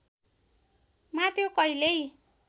मा त्यो कहिल्यै